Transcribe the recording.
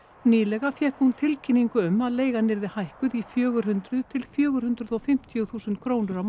nýlega fékk hún tilkynningu um að leigan yrði hækkuð í fjögur hundruð til fjögur hundruð og fimmtíu þúsund krónur á